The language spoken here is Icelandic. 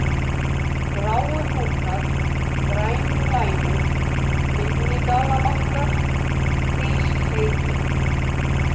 Gráuhnúkar, Grænulænur, Minni-Dalabakkar, Hrískriki